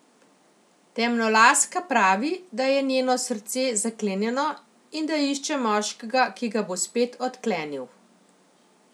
Temnolaska pravi, da je njeno srce zaklenjeno in da išče moškega, ki ga bo spet odklenil.